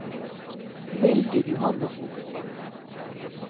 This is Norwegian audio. Mildrid Johannessen